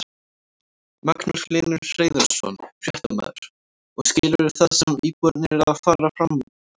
Magnús Hlynur Hreiðarsson, fréttamaður: Og skilurðu það sem íbúarnir eru að fara fram á?